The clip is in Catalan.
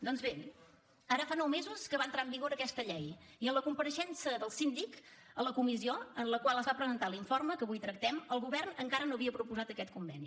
doncs bé ara fa nou mesos que va entrar en vigor aquesta llei i en la compareixença del síndic a la comissió en la qual es va presentar l’informe que avui tractem el govern encara no havia proposat aquest conveni